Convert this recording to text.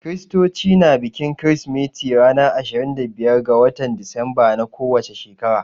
Kiristoci na bikin kirsimeti ranar ashirin da biyar ga watan Disemba na ko wace shekara.